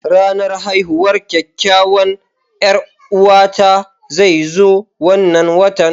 Ranar haihuwar kakkawan 'Yar'uwata zai zo wannan watan.